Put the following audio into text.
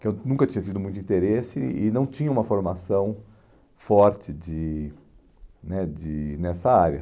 que eu nunca tinha tido muito interesse e não tinha uma formação forte de né de nessa área.